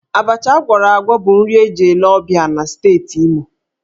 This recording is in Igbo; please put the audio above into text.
Abacha ágwọ̀rọ̀ ágwọ̀ bụ nri eji ele ọ̀bịá na Steeti Imo.